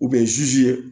U bɛ ye